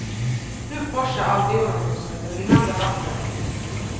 Nu forsar allt ur honom som ett rinnande vatten.